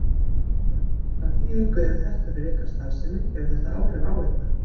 Jón Örn: Hvaða þýðingu hefur þetta fyrir ykkar starfsemi, hefur þetta áhrif á ykkur?